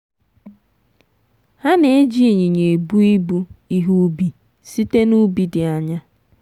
ha na-eji ịnyịnya ebu ibu ihe ubi site n'ubi dị anya.